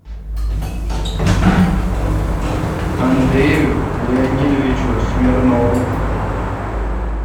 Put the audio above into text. андрею леонидовичу смирнову